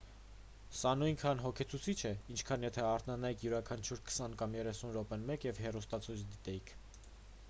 սա նույնքան հոգնեցուցիչ է ինչքան եթե արթնանայիք յուրաքանչյուր քսան կամ երեսուն րոպեն մեկ և հեռուստացույց դիտեիք